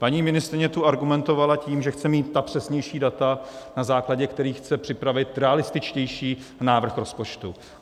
Paní ministryně tu argumentovala tím, že chce mít ta přesnější data, na základě kterých chce připravit realističtější návrh rozpočtu.